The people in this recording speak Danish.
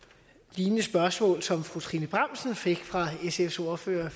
lignende spørgsmål som fru trine bramsen fik fra sfs ordfører